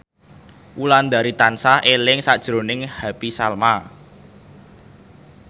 Wulandari tansah eling sakjroning Happy Salma